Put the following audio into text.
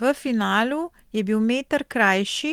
V finalu je bil meter krajši,